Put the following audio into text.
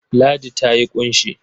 Ladi ta yi ƙunshi.